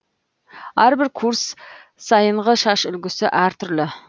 әрбір курс сайынғы шаш үлгісі әртүрлі